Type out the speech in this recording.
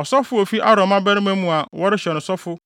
Ɔsɔfo a ofi Aaron mmabarima mu a wɔrehyɛ no sɔfo